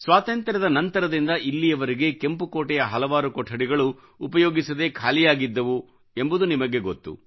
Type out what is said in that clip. ಸ್ವಾತಂತ್ರ್ಯದ ನಂತರದಿಂದ ಇಲ್ಲಿವರೆಗೆ ಕೆಂಪು ಕೋಟೆಯ ಹಲವಾರು ಕೊಠಡಿಗಳು ಉಪಯೋಗಿಸದೇ ಖಾಲಿಯಾಗಿದ್ದವು ಎಂಬುದು ನಿಮಗೆ ಗೊತ್ತು